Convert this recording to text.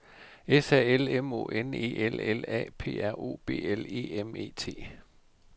S A L M O N E L L A P R O B L E M E T